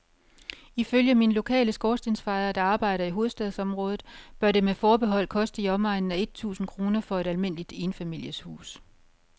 Ifølge min lokale skorstensfejer, der arbejder i hovedstadsområdet, bør det med forbehold koste i omegnen af et tusind kroner for et almindeligt enfamilieshus.